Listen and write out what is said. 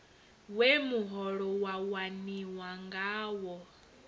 we muholo wa waniwa ngawo